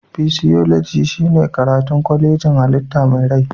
Fisioloji shine karatun kwayoyin hallita mai rai